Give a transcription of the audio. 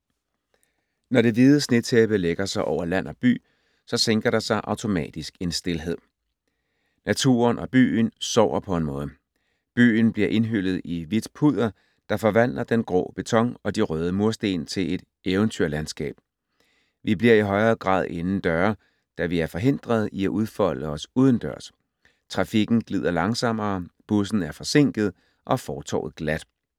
Når det hvide snetæppe lægger sig over land og by, så sænker der sig automatisk en stilhed. Naturen og byen sover på en måde. Byen bliver indhyllet i hvidt pudder, der forvandler den grå beton og de røde mursten til et eventyrlandskab. Vi bliver i højere grad inden døre, da vi er forhindrede i at udfolde os udendørs. Trafikken glider langsommere, bussen er forsinket og fortovet glat.